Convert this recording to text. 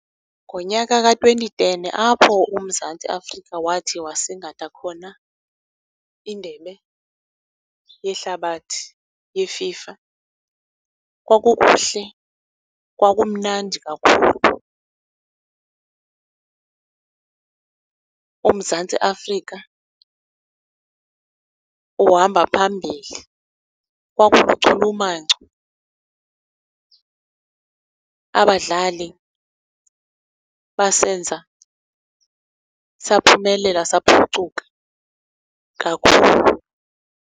Ngonyaka ka-twenty ten apho uMzantsi Afrika wathi wasingatha khona indebe yehlabathi ye-FIFA kwakukuhle, kwakumnandi kakhulu, uMzantsi Afrika uhamba phambili. Kwakuluchumanco, abadlali basenza saphumelela, saphucuka kakhulu.